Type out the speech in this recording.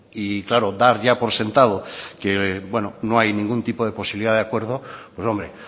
y claro dar ya por sentado que bueno no hay ningún tipo de posibilidad de acuerdo pues hombre